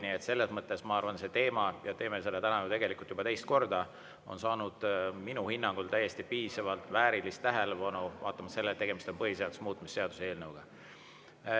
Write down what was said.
Nii et selles mõttes on see teema – ja me teeme seda täna tegelikult juba teist korda – saanud minu hinnangul täiesti piisavalt ja väärilist tähelepanu,, et tegemist on põhiseaduse muutmise seaduse eelnõuga.